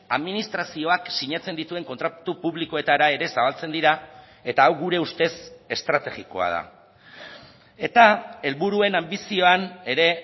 administrazioak sinatzen dituen kontratu publikoetara ere zabaltzen dira eta hau gure ustez estrategikoa da eta helburuen anbizioan ere